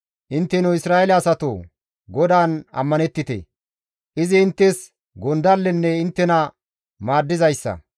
Intteno Isra7eele asatoo! GODAAN ammanettite! Izi inttes gondallenne inttena maaddizaade.